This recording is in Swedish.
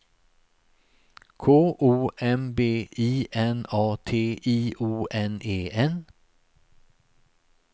K O M B I N A T I O N E N